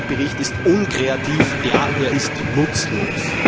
Der gesamte Bericht ist unkreativ, ja, er ist nutzlos!